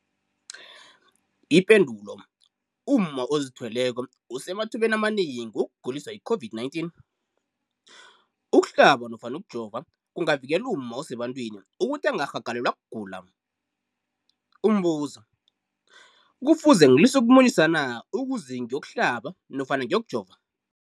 Ipendulo, umma ozithweleko usemathubeni amanengi wokuguliswa yi-COVID-19. Ukuhlaba nofana ukujova kungavikela umma osebantwini ukuthi angarhagalelwa kugula. Umbuzo, kufuze ngilise ukumunyisa na ukuze ngiyokuhlaba nofana ngiyokujova?